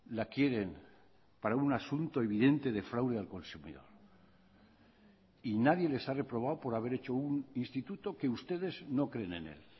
la quieren para un asunto evidente de fraude al consumidor y nadie les ha reprobado por haber hecho un instituto que ustedes no creen en él